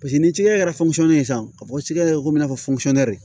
Paseke ni cikɛ kɛra ye sisan ka bɔ ci kɛ ko in na fɔ